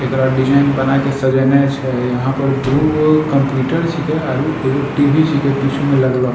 एकरा डिजाइन बना के सजाएने छै यहाँ पर दुगो कंप्यूटर छीके आरू एगो टी.वी. छीके पीछू में लगलो।